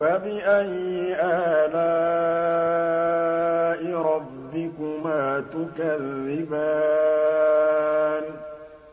فَبِأَيِّ آلَاءِ رَبِّكُمَا تُكَذِّبَانِ